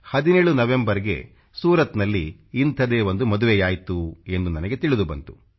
17 November ಗೆ ಸೂರತ್ನಲ್ಲಿ ಇಂಥದೇ ಒಂದು ಮದುವೆಯಾಯ್ತು ಎಂದು ನನಗೆ ತಿಳಿದು ಬಂತು